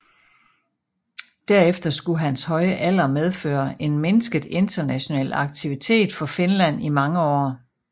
Derefter skulle hans høje alder medføre en mindsket international aktivitet for Finland i mange år